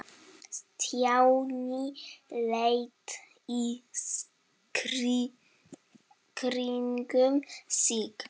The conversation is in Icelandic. Stjáni leit í kringum sig.